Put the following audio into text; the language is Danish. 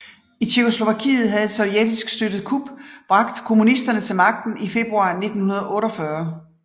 I Tjekkoslovakiet havde et sovjetisk støttet kup bragt kommunisterne til magten i februar 1948